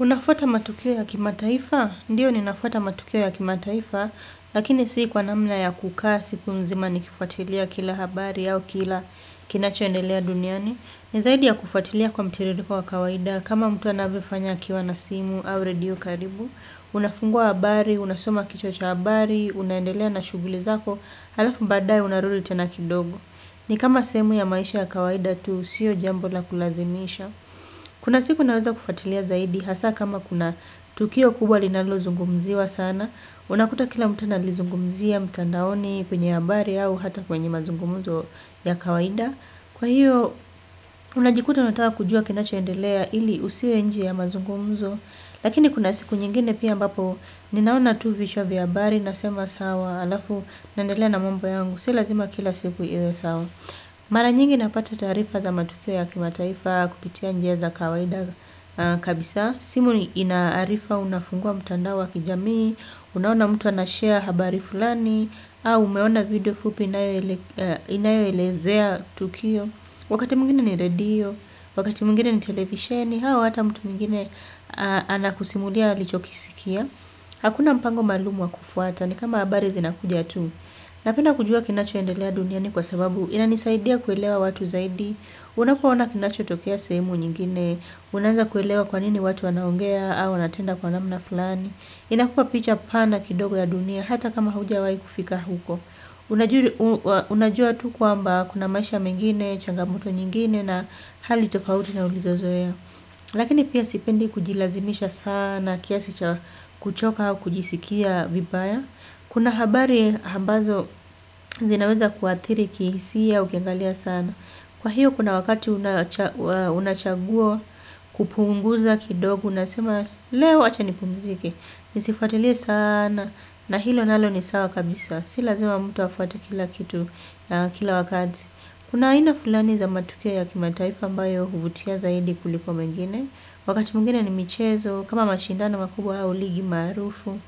Unafuata matukio ya kimataifa? Ndiyo ni nafuata matukio ya kimataifa, lakini sii kwa namna ya kukaa, siku mzima nikifuatilia kila habari au kila kinachoendelea duniani. Ni zaidi ya kufuatilia kwa mtiririko wa kawaida, kama mtu anavyofanya akiwa na simu au redio karibu, unafungua habari, unasoma kichwa cha habari, unaendelea na shughuli zako, halafu baadaye unarudi tena kidogo. Ni kama sehemu ya maisha ya kawaida tu, sio jambobla kulazimisha. Kuna siku naweza kufuatilia zaidi, hasa kama kuna tukio kubwa linalo zungumziwa sana, unakuta kila mtu analizungumzia, mtandaoni, kwenye habari au, ata kwenye mazungumzo ya kawaida. Kwa hiyo, unajikuta unataka kujua kinacho endelea ili usiwe nje ya mazungumzo, lakini kuna siku nyingine pia ambapo, ninaona tu vichwa vya habari, nasema sawa, alafu, naendelea na mambo yangu, si lazima kila siku iwe sawa. Mara nyingi napata taarifa za matukio ya kimataifa kupitia njia za kawaida kabisa, simu inaarifa unafungua mtandao wa kijami, unaona mtu anashare habari fulani, au umeona video fupi inayoelezea tukio, wakati mwingine ni redio, wakati mwengine ni television, au ata mtu mwengine anakusimulia alichokisikia. Hakuna mpango maalumu wa kufuata ni kama habari zinakuja tu. Napenda kujua kinachoendelea duniani kwa sababu inanisaidia kuelewa watu zaidi. Unapoona kinacho tokea sehemu nyingine unaanza kuelewa kwanini watu wanaongea au wanatenda kwa namna fulani. Inakuwa picha pana kidogo ya dunia hata kama hujawai kufika huko. Unajua tu kwamba kuna maisha mengine, changamoto nyingine na hali tofauti na ulizozoea. Lakini pia sipendi kujilazimisha sana kiasi cha kuchoka au kujisikia vibaya. Kuna habari ambazo zinaweza kuathiri khisia ukiangalia sana. Kwa hiyo kuna wakati unachagua kupunguza kidogo unasema leo wacha nipumzike. Nisifuatilie sana na hilo nalo ni sawa kabisa. Si lazima emmtu afuate kila kitu kila wakati. Kuna ina fulani za matukio ya kimataifa ambayo huvutia zaidi kuliko mengine, wakati mwengine ni michezo, kama mashindano makubwa au ligi maarufu,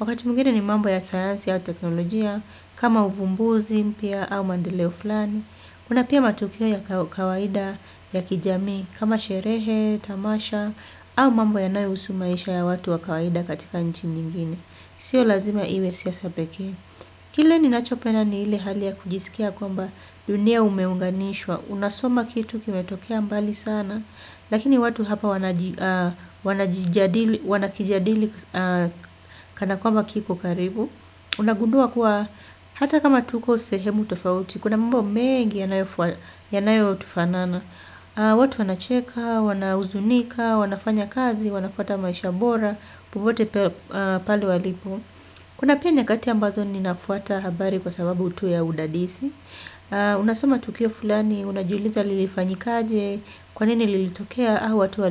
wakati mwengine ni mambo ya sayansi au teknolojia, kama uvumbuzi mpya au maendeleo fulani, kuna pia matukio ya kawaida ya kijami kama sherehe, tamasha au mambo yanayohusu maisha ya watu wa kawaida katika nchi nyingine. Sio lazima iwe siasa pekee. Kile ninacho penda ni ile hali ya kujisikia kwamba dunia umeunganishwa. Unasoma kitu kimetokea mbali sana. Lakini watu hapa wanakijadili kana kwamba kikokaribu. Unagundua kuwa hata kama tuko sehemu tofauti kuna mambo mengi yanayotufanana. Watu wanacheka, wana huzunika, wanafanya kazi, wanafuata maisha bora popote pale walipo. Kuna pia nyakati ambazo ninafuata habari kwa sababu tu ya udadisi. Unasoma tukio fulani, unajiuliza lilifanyikaje. Kwanini lilitokea, au watu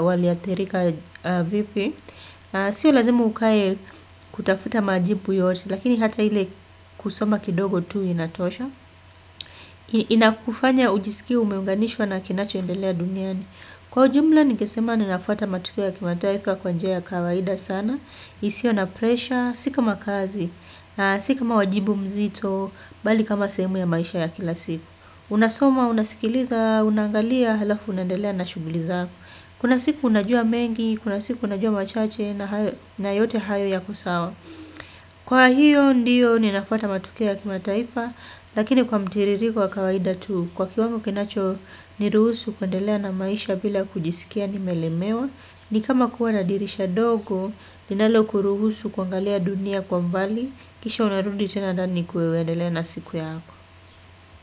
waliathirika vipi. Sio lazimu ukae kutafuta majibu yote. Lakini hata ile kusoma kidogo tu inatosha. Inakufanya ujisikie umeunganishwa na kinacho endelea duniani. Kwa ujumla ningesema ninafuata matukio ya kimataifa kwa njia kawaida sana, isiyo na presha, si kam kazi, si kama wajibu mzito, bali kama sehemu ya maisha ya kila siku. Unasoma, unasikiliza, unaangalia, halafu unaendelea na shughuli zakoa. Kuna siku unajua mengi, kuna siku unajua machache na yote hayo yako sawa. Kwa hiyo ndiyo ninafuatata matukio ya kimataifa lakini kwa mtiririko wa kawaida tu kwa kiwango kinacho ni ruhusu kuendelea na maisha bila kujisikia nimelemewa ni kama kuwa na dirisha dogo linalo kuruhusu kuangalia dunia kwa mbali kisha unarundi tena ndani kuendelea na siku yako.